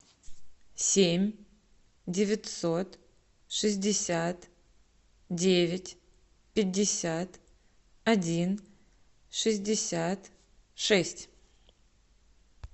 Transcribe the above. семь девятьсот шестьдесят девять пятьдесят один шестьдесят шесть